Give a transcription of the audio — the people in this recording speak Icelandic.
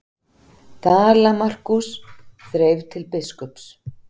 Dala-Markús þreif til biskups.